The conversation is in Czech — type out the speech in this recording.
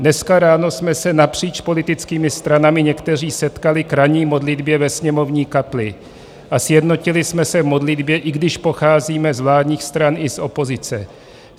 Dneska ráno jsme se napříč politickými stranami někteří setkali k ranní modlitbě ve sněmovní kapli a sjednotili jsme se v modlitbě, i když pocházíme z vládních stran i z opozice.